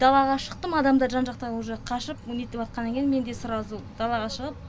далаға шықтым адамдар жан жақта уже қашып нетватқаннан кейін мен де сразу далаға шығып